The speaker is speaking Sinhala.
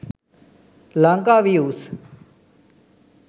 lankaviews